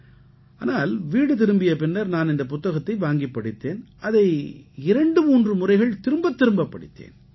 ஆனால் வீடு திரும்பிய பின்னர் நான் இந்தப் புத்தகத்தை வாங்கிப் படித்தேன் அதை 23 முறைகள் திரும்பத் திரும்பப் படித்தேன்